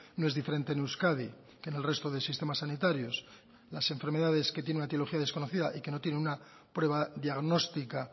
no es diferente en euskadi que en el resto de sistemas sanitarios las enfermedades que tienen una etiología desconocida y que no tienen una prueba diagnóstica